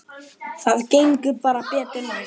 Það gengur bara betur næst.